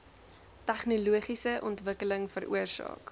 tegnologiese ontwikkeling veroorsaak